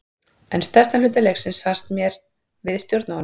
En stærstan hluta leiksins fannst mér við stjórna honum.